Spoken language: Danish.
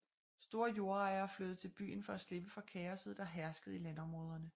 Store jordejere flyttede til byen for at slipper for kaosset der herskede i landområderne